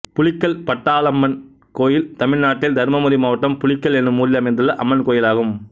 புலிக்கல் பட்டாளம்மன் கோயில் தமிழ்நாட்டில் தர்மபுரி மாவட்டம் புலிக்கல் என்னும் ஊரில் அமைந்துள்ள அம்மன் கோயிலாகும்